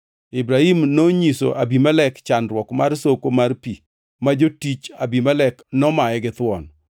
Ibrahim nonyiso Abimelek chandruok mar soko mar pi ma jotich Abimelek nomaye githuon.